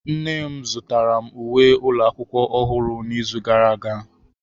Nne m zụtara m uwe ụlọ akwụkwọ ọhụrụ n'izu gara aga.